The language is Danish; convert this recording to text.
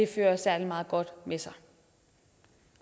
fører særlig meget godt med sig